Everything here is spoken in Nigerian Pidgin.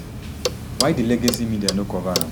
why di legacy media no cover am